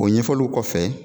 O ɲɛfɔliw kɔfɛ